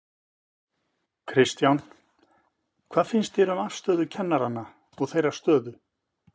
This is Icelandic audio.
Kristján: Hvað finnst þér um afstöðu kennaranna og þeirra stöðu?